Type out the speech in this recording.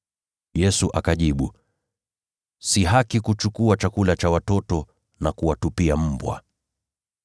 Yesu akajibu, “Si haki kuchukua chakula cha watoto na kuwatupia mbwa.”